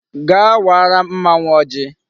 Gaa wara mmanwu ojii